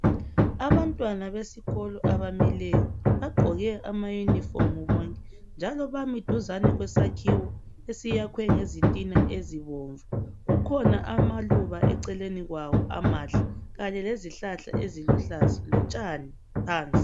Abantwana besikolo abamileyo bagqoke amayunifomu bonke njalo bami duzane kwesakhowo esiyakhwe ngezitina ezibomvu kukhona amaluba eceleni kwawo amahle kanye lezihlahla eziluhlaza lotshani phansi .